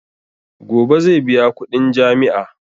Gobe zai biya kudin jami'a.